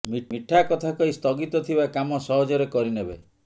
ମିଠା କଥା କହି ସ୍ଥଗିତ ଥିବା କାମ ସହଜରେ କରିନେବେ